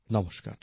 নমস্কার